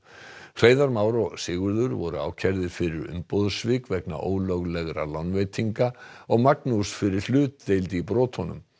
Hreiðar Már og Sigurður voru ákærðir fyrir umboðssvik vegna ólöglegra lánveitinga og Magnús fyrir hlutdeild í brotunum